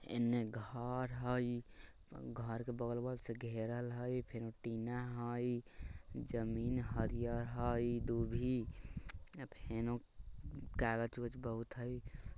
इन्हें घर हई घर के बगलवा से घेरल हई फेन टीना हई जमीन हरिहर हई दुभी अ फेनु कागज-उगज बहुत हई।